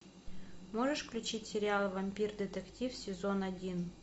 можешь включить сериал вампир детектив сезон один